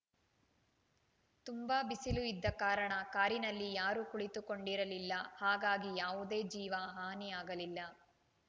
ತುಂಬಾ ಬಿಸಿಲು ಇದ್ದ ಕಾರಣ ಕಾರಿನಲ್ಲಿ ಯಾರೂ ಕುಳಿತು ಕೊಂಡಿರಲಿಲ್ಲ ಹಾಗಾಗಿ ಯಾವುದೇ ಜೀವ ಹಾನಿ ಆಗಲಿಲ್ಲ